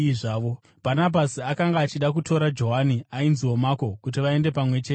Bhanabhasi akanga achida kutora Johani, ainziwo Mako, kuti vaende pamwe chete naye,